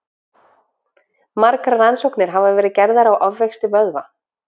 Margar rannsóknir hafa verið gerðar á ofvexti vöðva.